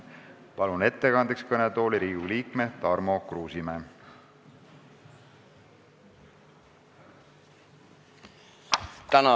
Palun ettekandeks kõnetooli Riigikogu liikme Tarmo Kruusimäe.